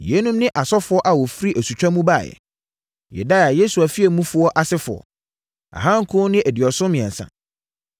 Yeinom ne asɔfoɔ a wɔfiri asutwa mu baeɛ: 1 Yedaia (Yesua fie mufoɔ) asefoɔ 2 973 1